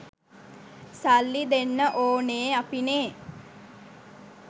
සල්ලි දෙන්න ඕනෙ අපිනේ